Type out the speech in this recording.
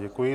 Děkuji.